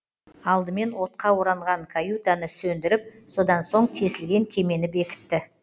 алдымен отқа оранған каютаны сөндіріп содан соң тесілген кемені бекітті